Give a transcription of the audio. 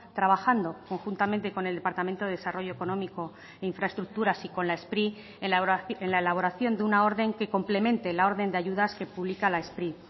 trabajando conjuntamente con el departamento de desarrollo económico e infraestructuras y con la spri en la elaboración de una orden que complemente la orden de ayudas que publica la spri